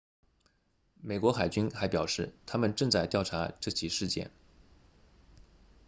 美国海军还表示他们正在调查这起事件